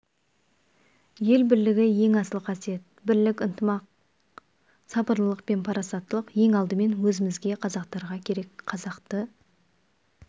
ел бірлігі ең асыл қасиет бірлік ынтымақ сабырлылық пен парасаттылық ең алдымен өзімізге қазақтарға керек қазақты